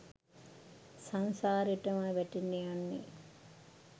සංසාරෙටමයි වැටෙන්න යන්නේ.